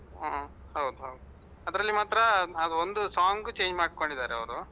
ಹ್ಮ್ ಹೌದು ಹೌದು. ಅದರಲ್ಲಿ ಮಾತ್ರ ಒಂದು song change ಮಾಡ್ಕೊಂಡಿದ್ದಾರೆ ಅವರು.